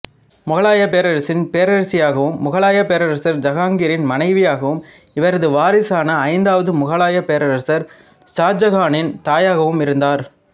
முகலாய பேரரசின் பேரரசியாகவும் முகலாய பேரரசர் ஜஹாங்கிரின் மனைவியாகவும் இவரது வாரிசான ஐந்தாவது முகலாய பேரரசர் ஷாஜகானின் தாயாகவும் இருந்தார்